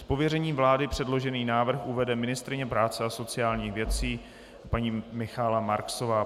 Z pověření vlády předložený návrh uvede ministryně práce a sociálních věcí paní Michaela Marksová.